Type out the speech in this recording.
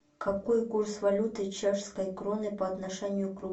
какой курс валюты чешской кроны по отношению к рублю